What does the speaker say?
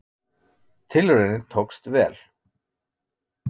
Tilraunin tókst vel.